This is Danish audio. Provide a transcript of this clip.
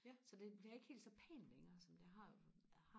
så det bliver ikke helt så pænt længere som det har har